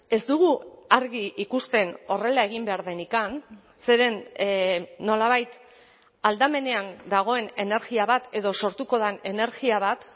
ez dugu argi ikusten horrela egin behar denik zeren nolabait aldamenean dagoen energia bat edo sortuko den energia bat